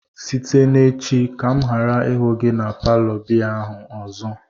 site n'echi ka m ghara ihu gi na palo biya ahu ozo!